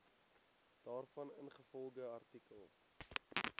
daarvan ingevolge artikel